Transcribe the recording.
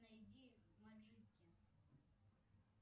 найди маджики